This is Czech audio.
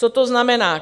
Co to znamená?